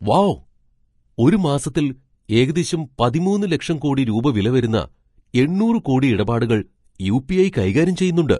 Wow ! ഒരു മാസത്തിൽ ഏകദേശം പതിമൂന്ന് ലക്ഷം കോടി രൂപ വില വരുന്ന എണ്ണൂറ് കോടി ഇടപാടുകൾ യു.പി.ഐ. കൈകാര്യം ചെയ്യുന്നുണ്ട് .